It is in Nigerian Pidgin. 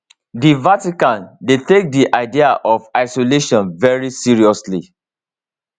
di vatican dey take di idea of isolation very seriously